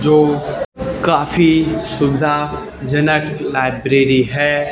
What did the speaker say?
जो काफी सुविधा जनक लाइब्रेरी है।